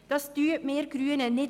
Das unterstützen wir Grünen nicht.